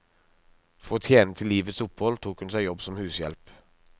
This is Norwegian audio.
For å tjene til livets opphold tok hun seg jobb som hushjelp.